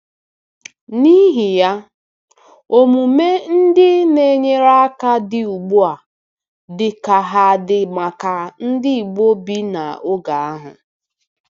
N'ihi ya, omume ndị na-enyere aka dị mma ugbu a dị ka ha dị maka ndị Igbo bi n'oge ahụ.